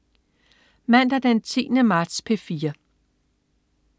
Mandag den 10. marts - P4: